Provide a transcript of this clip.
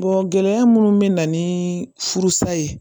gɛlɛya minnu bɛ na ni furusa ye